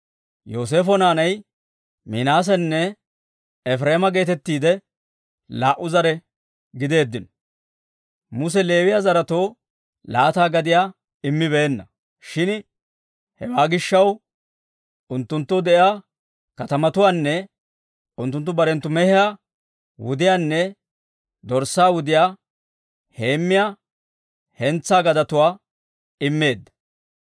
Yooseefo naanay Minaasanne Efireema geetettiide laa"u zare gideeddino. Muse Leewiyaa zaretoo laata gadiyaa immibeenna; shin hewaa gishshaw unttunttoo de'iyaa katamatuwaanne unttunttu barenttu mehiyaa wudiyaanne dorssaa wudiyaa heemmiyaa hentsaa gadetuwaa immeedda.